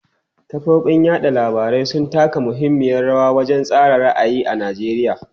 Kafofin yada labarai sun taka muhimmiyar rawa wajen tsara ra'ayi a Najeriya.